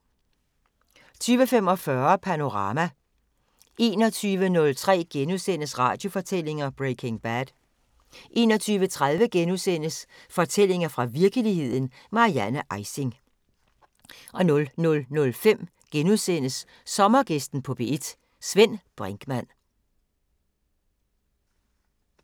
20:45: Panorama 21:03: Radiofortællinger: Breaking Bad * 21:30: Fortællinger fra virkeligheden – Marianne Ejsing * 00:05: Sommergæsten på P1: Svend Brinkmann *